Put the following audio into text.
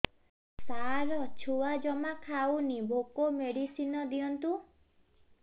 ସାର ଛୁଆ ଜମା ଖାଉନି ଭୋକ ମେଡିସିନ ଦିଅନ୍ତୁ